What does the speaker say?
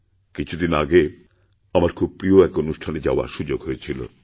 কিছু দিন আগে আমার খুব প্রিয় একঅনুষ্ঠানে যাওয়ার সুযোগ হয়েছিল